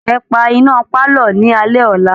Ẹ pa iná pálọ̀ ní alẹ́ ọ̀la!